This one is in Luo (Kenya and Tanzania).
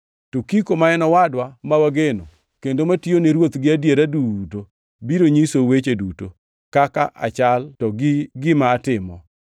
Tukiko, ma en owadwa ma wageno kendo matiyo ni Ruoth gi adiera duto biro nyisou weche duto, kaka achal to gi gima atimo.